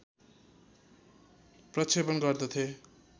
प्रक्षेपण गर्दथे